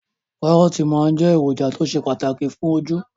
Kàrọ́ọ̀tì máa jẹ́ èròjà tó ṣe pàtàkì fún ojú